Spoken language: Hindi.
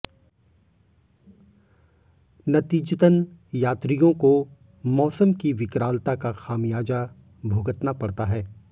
नतीजतन यात्रियों को मौसम की विकरालता का खमियाजा भुगतना पड़ता है